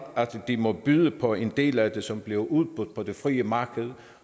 de må byde på en del af det som bliver udbudt på det frie marked